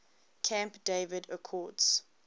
camp david accords